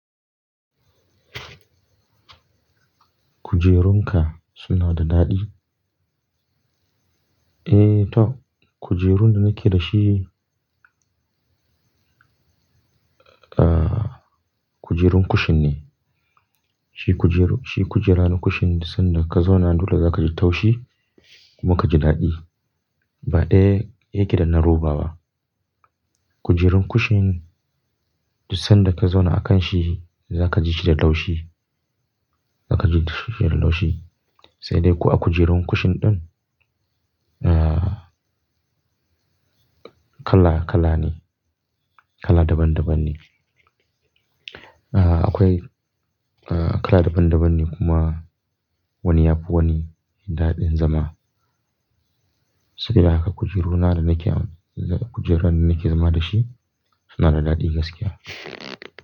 Kuje runka suna da daɗi? Eh to, kujerun da nake da shi, kujerun kushin ne. Shi kujeru-- shi kujera na kushin da sanda ka zauna dole za ka ji taushi kuma ka ji daɗi. Ba ɗaya yake da na roba ba. Kujerun kushin duk sanda ka zauna a kan shi za ka ji shi da laushi, za ka ji shi da laushi. Sai dai ko a kujerun kushin ɗin, ah, kala kala ne, kala daban daban ne. Ah, akwai, ah, kala daban daban ne kuma wani ya fi wani daɗin zama. Saboda haka kujeruna da nake am, kujeran da nake zama da shi suna da daɗi gaskiya.